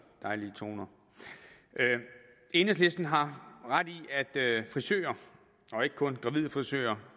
dejlige toner enhedslisten har ret i at frisører og ikke kun gravide frisører